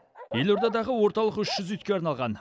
елордадағы орталық үш жүз итке арналған